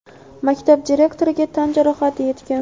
maktab direktoriga tan jarohati yetgan.